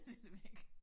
Det ved jeg ik